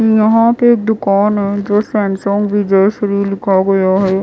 यहां पे दुकान है जो सैमसंग विजयश्री लिखा गया है।